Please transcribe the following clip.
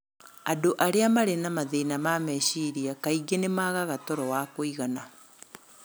Andũ arĩa marĩ na mathĩna ma meciria kaingĩ nĩ maagaga toro wa kũigana.